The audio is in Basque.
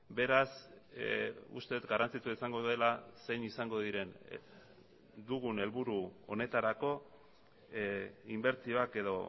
beraz uste dut garrantzitsua izango dela zein izango diren dugun helburu honetarako inbertsioak edo